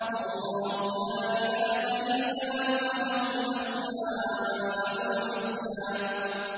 اللَّهُ لَا إِلَٰهَ إِلَّا هُوَ ۖ لَهُ الْأَسْمَاءُ الْحُسْنَىٰ